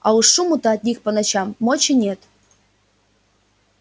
а уж шуму-то от них по ночам мочи нет